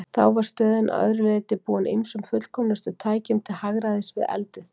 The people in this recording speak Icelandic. Þá var stöðin að öðru leyti búin ýmsum fullkomnustu tækjum til hagræðis við eldið.